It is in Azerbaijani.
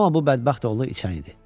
Amma bu bədbəxt oğlu içən idi.